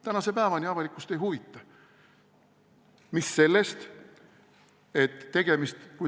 Tänase päevani avalikkust ei huvita!